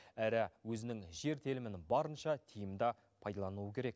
әрі өзінің жер телімін барынша тиімді пайдалануы керек